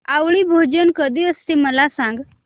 आवळी भोजन कधी असते मला सांग